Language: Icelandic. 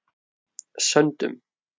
Söndum